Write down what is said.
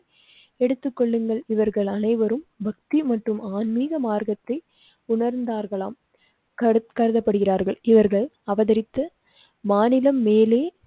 எடுத்துக் கொள்ளுங்கள் இவர்கள் அனைவரும் பக்தி மற்றும் ஆன்மீக மார்க்கத்தை உணர்ந்தார்களாம் கருதப்படுகிறார்கள். இவர்கள் அவதரித்து மாநிலம் மேலே